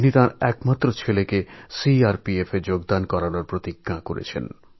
তিনি তাঁর একমাত্র পুত্রকে CRPFএ যোগদান করানোর সংকল্প নিয়েছেন